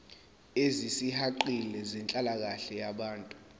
ezisihaqile zenhlalakahle yabantu